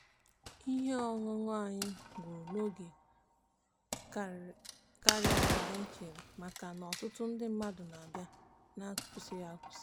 ihe ọṅụṅụ anyị gwuru n'oge karịa ka anyị chere maka na ọtụtụ ndị mmadụ na-abịa n'akwụsịghị akwusi.